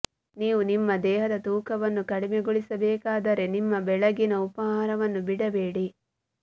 ನೀವು ನಿಮ್ಮ ದೇಹದ ತೂಕವನ್ನು ಕಡಿಮೆಗೊಳಿಸಬೇಕಾದರೆ ನಿಮ್ಮ ಬೆಳಗಿನ ಉಪಹಾರವನ್ನು ಬಿಡಬೇಡಿ